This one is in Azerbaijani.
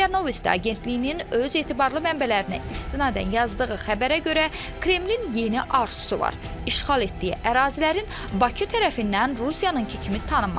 Ria Novosti agentliyinin öz etibarlı mənbələrinə istinadən yazdığı xəbərə görə, Kremlin yeni arzusu var: işğal etdiyi ərazilərin Bakı tərəfindən Rusiyanınkı kimi tanınması.